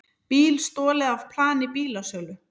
Bíl stolið af plani bílasölu